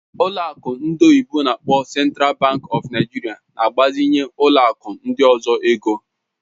Ụlọ akụ ndị oyibo n'akpọ Central Bank of Nigeria na-agbazinye ụlọ akụ ndị ọzọ ego.